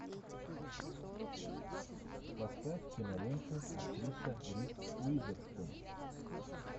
поставь киноленты актриса риз уизерспун